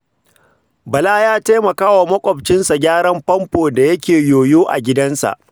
Bala ya taimaka wa maƙwabcinsa gyaran famfo da yake yoyo a gidansa.